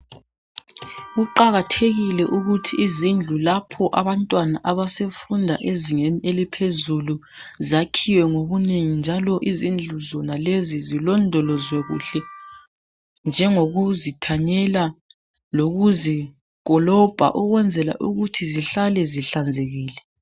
Kuqakathekile ukuthi izindlu lapho abantwana abasefunda ezingeni eliphezulu zakhiwe ngobunengi njalo izindlu zonalezi zilondolozwe kuhle njengokuzithanyela lokuzikolobha ukwenzela ukuthi zihlale zihlanzekile.